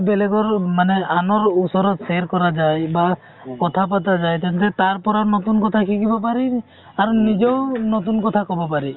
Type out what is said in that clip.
বেলেগৰ মানে আনৰ ওচৰত share কৰা যাই বা কথা পাতা যাই তেন্তে তাৰ পৰা নতুন কথা শিকিব পাৰি আৰু নিজেও নতুন কথা কব পাৰি